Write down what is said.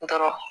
Dɔrɔn